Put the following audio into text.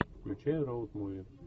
включай роуд муви